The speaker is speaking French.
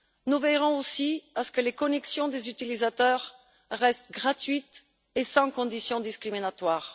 Nous veillerons aussi à ce que les connexions des utilisateurs restent gratuites et sans conditions discriminatoires.